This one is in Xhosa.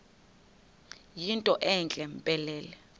yinto entle mpelele